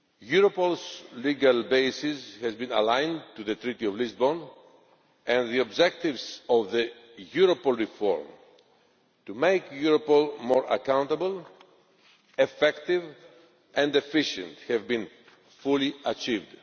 Europol's legal basis has been aligned to the Treaty of Lisbon, and the objectives of the Europol reform to make Europol more accountable, effective and efficient have been fully achieved.